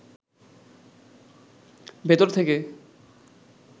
ভেতর থেকে